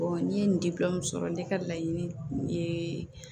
n ye nin sɔrɔ ne ka laɲini ye